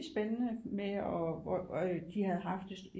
Spændende med og de havde haft det